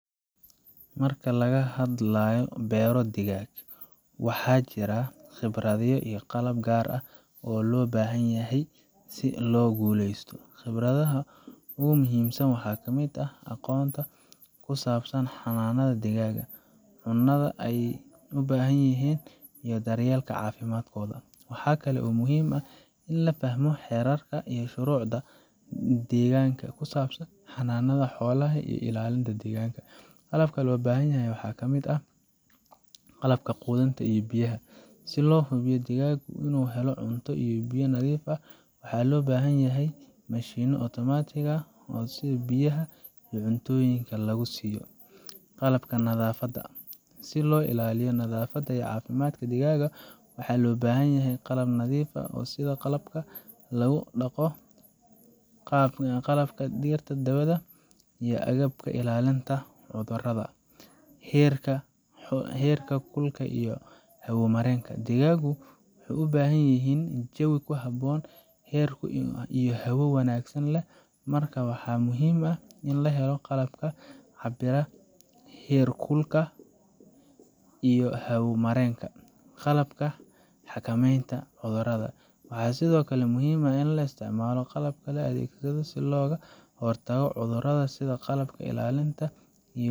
Marka laga hadlayo bero dhigag waa jira ,khibradho gaar ah si loo guleysto ,khibradaha ugu muhimsan waxa kamid ah ,aqonta kusabsan hananadha deganka, cunada ay u bahan yihin iyo daryelka cafimadkoda. Waxa kale oo muhim ah ini lafahmo herarka iyo shurucda deganka oo kusabsan hananada xolaha iyo deganka waxa loo bahanyahay qalab, si loo xubiyo digaga u u heloo, waxaa loo bahan yahay mashino automatic ah sidha biyaha iyo qalabka oo cuntoyinka lagu siyo ,qalabka nadafada ah sii loo ilaliyo nadafada iyo cafimadka digaga waxa loo bahanyahay qalab nadif ah. Digagu waxey u bahan yihin ini jawi kuhabon herkulka iyo hawo wanagsan leh, marka waxa muhim ah ini laheloqalabka herkulka iyo hawo marenka qalabka hakamenta cudarada ,waxa sidokale ini laisticmalo qalabka laadegsado sii cudarada loga xortago cudarada loda sidha qalabka ilalinta.